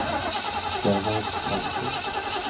Gerhard Karlsen